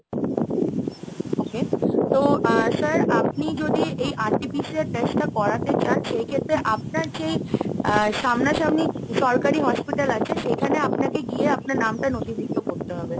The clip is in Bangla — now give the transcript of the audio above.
okay তো আহ sir আপনি যদি এই RTPCR এর test টা করাতে চান সেই ক্ষেত্রে আপনার যে সামনাসামনি সরকারি hospital আছে , সেখানে আপনাকে গিয়ে আপনার নামটা নথিভুক্ত করতে হবে।